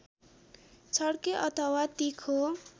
छड्के अथवा तिखो